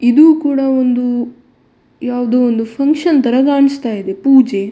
ಇದು ಕೂಡ ಒಂದು ಯಾವುದೋ ಒಂದು ಫಂಕ್ಷನ್‌ ತರ ಕಾಣಿಸ್ತ ಇದೆ ಪೂಜೆ.